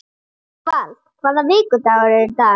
Ósvald, hvaða vikudagur er í dag?